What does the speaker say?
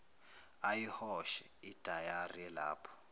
ayihoshe idayari elapho